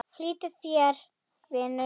Flýt þér, vinur!